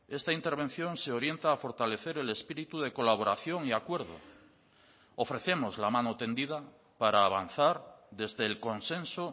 esta intervención se orienta a fortalecer el espíritu de colaboración y acuerdo ofrecemos la mano tendida para avanzar desde el consenso